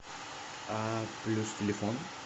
а плюс телефон